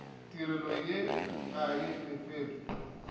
tirelo ye ga e lefelwe